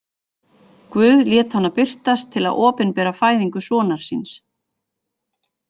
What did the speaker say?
Guð lét hana birtast til að opinbera fæðingu sonar síns.